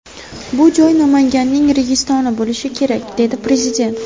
Bu joy ‘Namanganning Registoni’ bo‘lishi kerak”, – dedi Prezident.